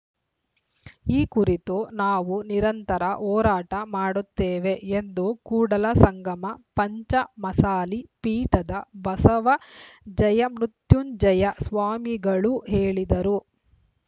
ಈ ಕುರಿತು ನಾವು ನಿರಂತರ ಹೋರಾಟ ಮಾಡುತ್ತೇವೆ ಎಂದು ಕೂಡಲಸಂಗಮ ಪಂಚಮಸಾಲಿ ಪೀಠದ ಬಸವ ಜಯಮೃತ್ಯುಂಜಯ ಸ್ವಾಮಿಗಳು ಹೇಳಿದರು